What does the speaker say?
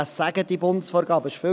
Was sagen diese Bundesvorgaben?